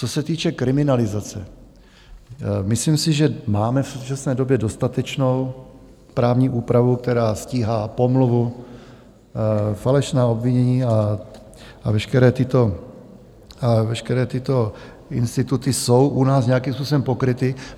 Co se týče kriminalizace, myslím si, že máme v současné době dostatečnou právní úpravu, která stíhá pomluvu, falešná obvinění, a veškeré tyto instituty jsou u nás nějakým způsobem pokryty.